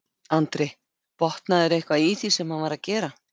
Andri: Botnaðirðu eitthvað í því sem hann var að gera?